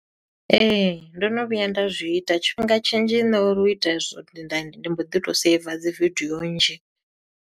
Ee, ndo no vhuya nda zwi ita, tshifhinga tshinzhi nṋe uri u ita hezwo ndi nda, ndi mbo ḓi to saver dzi vidio nnzhi.